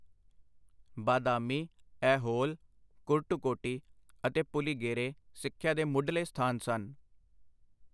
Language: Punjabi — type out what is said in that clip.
ਬਾਦਾਮੀ, ਐਹੋਲ, ਕੁਰਟੁਕੋਟੀ ਅਤੇ ਪੁਲਿਗੇਰੇ ਸਿੱਖਿਆ ਦੇ ਮੁਢਲੇ ਸਥਾਨ ਸਨ।